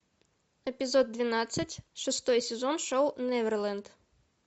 эпизод двенадцать шестой сезон шоу неверленд